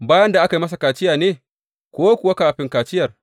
Bayan da aka yi masa kaciya ne, ko kuwa kafin kaciyar?